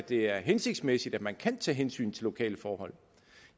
det er hensigtsmæssigt at man kan tage hensyn til lokale forhold